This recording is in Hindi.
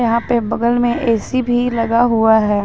यहां पे बगल में ए_सी भी लगा हुआ है।